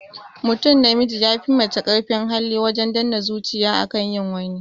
Mutum namiji ya fi mace karfin hali wajen danne zuciya akan yin wani